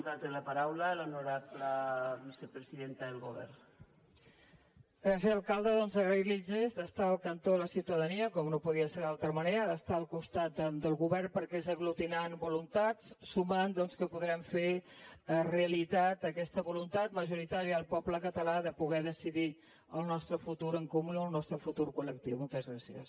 gràcies alcalde doncs agrair li el gest d’estar al cantó de la ciutadania com no podia ser d’altra manera d’estar al costat del govern perquè és aglutinant voluntats sumant doncs que podrem fer realitat aquesta voluntat majoritària del poble català de poder decidir el nostre futur en comú i el nostre futur colmoltes gràcies